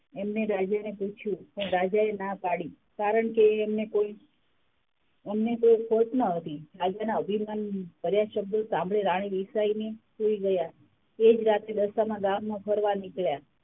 એમને રાજાને પૂછ્યું પણ રાજાએ ના પાડી કારણકે એમને કોઈ એમને કોઈ ખોટ નહોતી. રાજાના અભિમાન ભર્યા શબ્દો સાંભળી રાણી રિસાય ને સુય ગયાં એજ રાતે દશામાં ગામમાં ફરવા નિકડ્યાં.